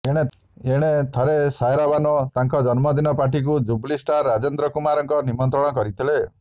ଏଣେ ଥରେ ସାଏରା ବାନୋ ତାଙ୍କ ଜନ୍ମଦିନ ପାର୍ଟିକୁ ଜୁବୁଲି ଷ୍ଟାର୍ ରାଜେନ୍ଦ୍ର କୁମାରଙ୍କ ନିମନ୍ତ୍ରଣ କରିଥିଲେ